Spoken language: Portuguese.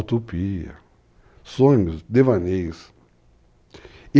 Utopia, sonhos, devaneios e,